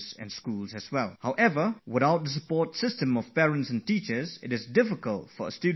Without the support system of parents and teachers, the students would not stand a good chance